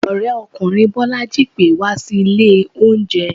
orekunrin bolají pè wa sí ìlè oúnje.